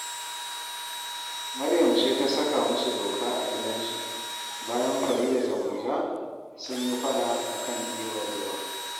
Maryam ce ta saka musu doka a gidansu, bayan Farida da Murja sun yi faɗa a kan ɗiban ruwa